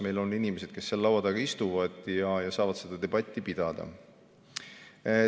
Meil on inimesed, kes seal laua taga istuvad ja saavad seda debatti pidada.